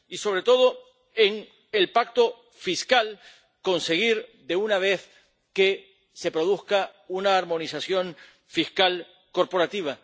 Y, sobre todo, en el pacto fiscal conseguir de una vez que se produzca una armonización fiscal corporativa.